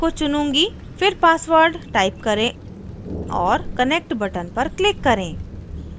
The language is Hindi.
फिर password type करें और connec t button पर click करें